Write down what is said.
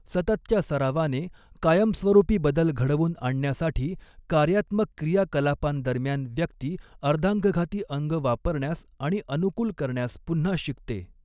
सततच्या सरावाने, कायमस्वरूपी बदल घडवून आणण्यासाठी कार्यात्मक क्रियाकलापांदरम्यान व्यक्ती अर्धांगघाती अंग वापरण्यास आणि अनुकूल करण्यास पुन्हा शिकते.